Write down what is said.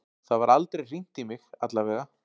Það var aldrei hringt í mig, allavega.